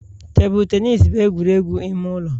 Tebụl tenis bụ egwuregwu ime ụlọ.